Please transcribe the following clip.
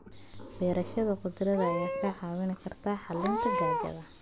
Beerashada khudaarta ayaa kaa caawin karta xalinta gaajada.